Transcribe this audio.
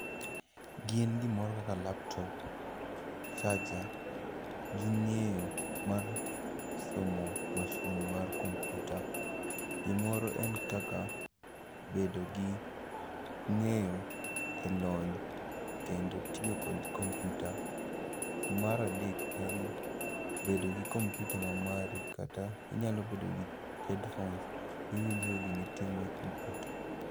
Gin gimoro kaka laptop, charger, gi ng'eyo mar somo mashin mar kompyuta. Gimoro en kaka bedo gi ng'eyo e lony kendo tiyo kod kompyuta. Maradek en bedo gi kompyuta ma mari kata inyalo bedo gi headphones iwinjogo gimitimo e kompyuta.